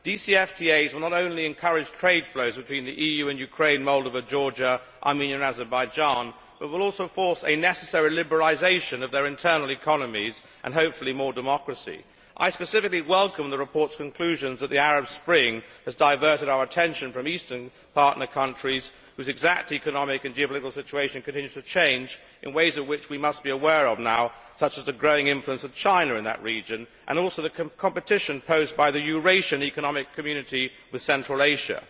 DCFTAs will not only encourage trade flows between the EU and Ukraine, Moldova, Georgia, Armenia and Azerbaijan, but will also force a necessary liberalisation of their internal economies and, hopefully, more democracy. I specifically welcome the report's conclusions that the Arab Spring has diverted our attention from eastern partner countries whose exact economic and geopolitical situation continues to change in ways in which we must be aware of now, such as the growing influence of China in that region and also the competition posed by the Eurasian Economic Community with Central Asia.